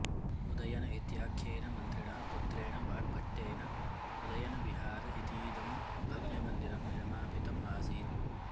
उदयन इत्याख्येन मन्त्रिणः पुत्रेण वाग्भट्टेन उदयनविहार इतीदं भव्यमन्दिरं निर्मापितम् आसीत्